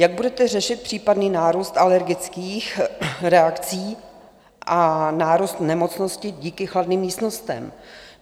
Jak budete řešit případný nárůst alergických reakcí a nárůst nemocnosti díky chladným místnostem?